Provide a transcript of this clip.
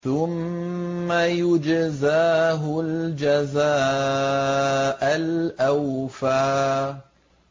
ثُمَّ يُجْزَاهُ الْجَزَاءَ الْأَوْفَىٰ